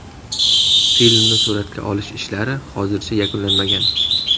Filmni suratga olish ishlari hozircha yakunlanmagan.